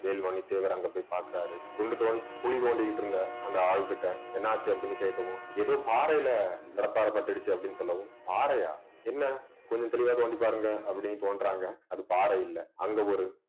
வேல்மணி தேவர் அங்க போய் பாக்குறாரு குண்டு தோண்டி குழி தோண்டிட்டு இருந்த அந்த ஆள்கிட்ட என்னாச்சு அப்படின்னு கேட்கவும் ஏதோ பாறையில கடப்பாரை பட்டுடுச்சு அப்படின்னு சொல்லவும் பாறையா என்ன கொஞ்சம் தெளிவாக வந்து பாருங்க அப்படின்னு தோன்றாங்க அது பாறை இல்லை அங்க ஒரு